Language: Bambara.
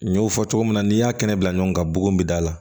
N y'o fɔ cogo min na n'i y'a kɛnɛ bila ɲɔgɔn kan bugun bi da la